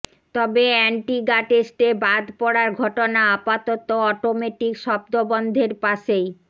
তবে অ্যান্টিগা টেস্টে বাদ পড়ার ঘটনা আপাতত অটোমেটিক শব্দবন্ধের পাশেই